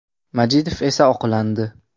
Majidov esa oqlandi.